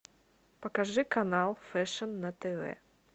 покажи канал фэшн на тв